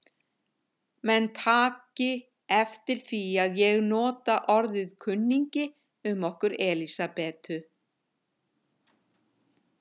Menn taki eftir því að ég nota orðið kunningi um okkur Elsabetu.